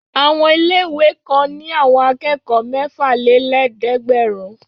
Àwọn ilé-ìwé kan ní àwọn akẹ́kọ̀ọ́ mẹ́fàlélẹ́ẹ̀dẹ́gbẹ̀rún.